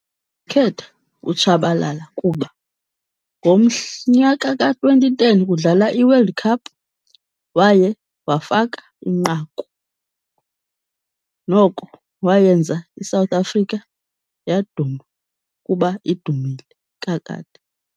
Khetha uTshabalala kuba nyaka ka-twenty ten kudlala iWorld Cup waye wafaka inqaku, noko wayenza iSouth Africa yaduma kuba idumile kakade.